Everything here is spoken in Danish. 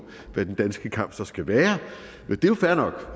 hvad den danske kamp så skal være men det er fair nok